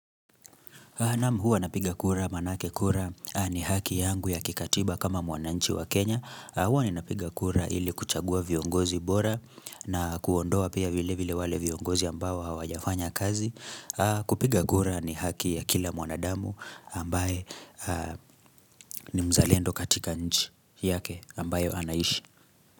Naam hua napiga kura maanake kura ni haki yangu ya kikatiba kama mwananchi wa Kenya. Huwa ninapiga kura ili kuchagua viongozi bora na kuondoa pia vile vile wale viongozi ambao hawajafanya kazi. Kupiga kura ni haki ya kila mwanadamu ambaye ni mzalendo katika nchi yake ambayo anaishi.